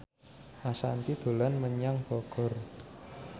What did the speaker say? Ashanti dolan menyang Bogor